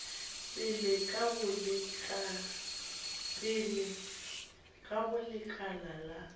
pele ka go lekala la